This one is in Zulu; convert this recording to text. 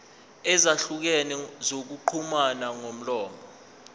ezahlukene zokuxhumana ngomlomo